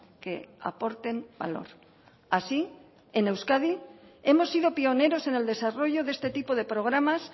que aporten valor así en euskadi hemos sido pioneros en el desarrollo de este tipo de programas